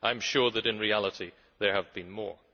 I am sure that in reality there have been more.